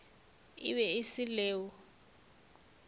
e be e se leo